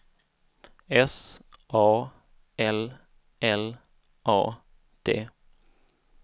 S A L L A D